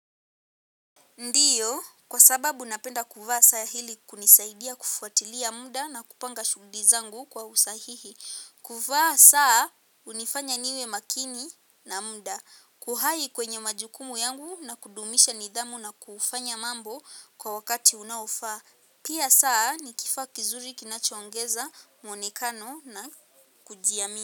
Ndiyo, kwa sababu napenda kuvaa saa hili kunisaidia kufuatilia muda na kupanga shuguli zangu kwa usahihi. Kuvaa saa hunifanya niwe makini na muda. Kuhai kwenye majukumu yangu na kudumisha nidhamu na kufanya mambo kwa wakati unaofaa. Pia saa nikifaa kizuri kinachoongeza mwonekano na kujiamia.